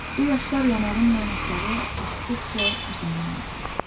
Bu yaşlar yanağımla aşağı axdıqca üzümü yandırır.